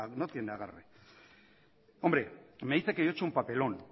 no tiene agarre hombre me dice que yo he hecho un papelón